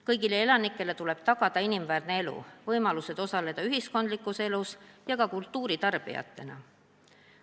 Kõigile elanikele tuleb tagada inimväärne elu, võimalused osaleda ühiskondlikus elus ja ka kultuuri tarbida.